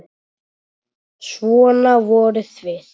Svona voruð þið.